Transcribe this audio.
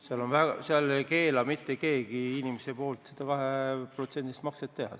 Seal ei keela mitte keegi inimesel seda 2%-list makset teha.